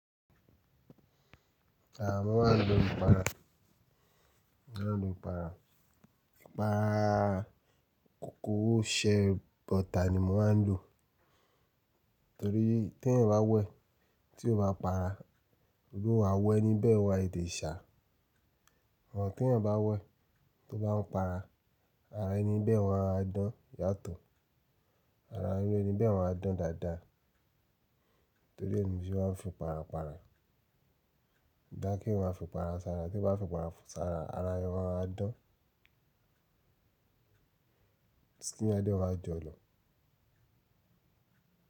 À, mo máa ń lo ìpara, mo máa ń lo ìpara. Ìpara kòkó o ṣe bọ̀tà ni mo máa ń lò torí tí ẹ̀yin bá wẹ̀ tí ó bá para, ìrú àwọ̀ ẹníbẹ̀ óma tètè ṣá. Àmọ tí ẹ̀yan bá wẹ̀ tó bá ń para, ara ẹni bẹ́ẹ̀ maá dán yàtọ̀. Ara ẹni bẹ́ẹ̀ maá dán dáadáa torí ẹ ni mo se mas n fi para para. Odá kí eyan maa fi para sára tí eyan bá fi para sára ara ẹni gan á dán. Tí n yán a dé wá jọ lọ.